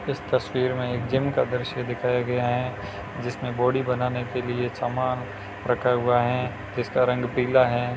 इस तस्वीर में एक जिम का दृश्य दिखाया गया है जिसमें बॉडी बनाने के लिए सामान रखा हुआ है जिसका रंग पीला है।